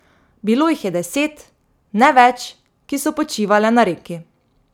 Bilo jih je deset, ne več, ki so počivale na reki.